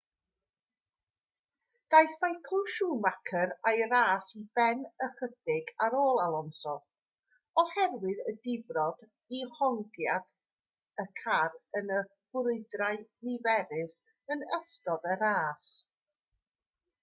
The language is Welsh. daeth michael schumacher â'i ras i ben ychydig ar ôl alonso oherwydd y difrod i hongiad y car yn y brwydrau niferus yn ystod y ras